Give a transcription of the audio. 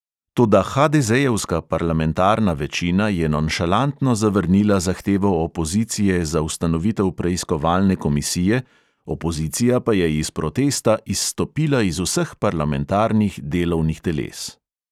Toda hadezejevska parlamentarna večina je nonšalantno zavrnila zahtevo opozicije za ustanovitev preiskovalne komisije, opozicija pa je iz protesta izstopila iz vseh parlamentarnih delovnih teles.